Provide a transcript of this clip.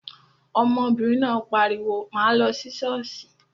Ọmọbìnrin náà pariwo, 'máa lọ sí ṣọ́ọ̀ṣì'